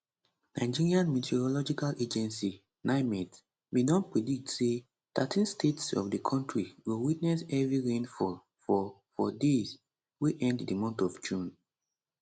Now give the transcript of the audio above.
nigerian meteorological agency nimet bin don predict say thirteen states of di kontri go witness heavy rainfall for for days wey end di month of june